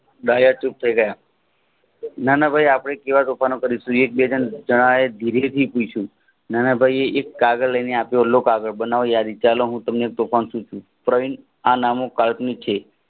દયા ચૂપ થાય ગયા નાનભાઈ એ ધીરે થી પૂછ્યું નાનભાઈ એક કાગળ લઈને આપ્યું લો કાગળ ચાલો હું તમને તોફાન શીખવું પ્રવીણ આ નામો કલ્પનિક છે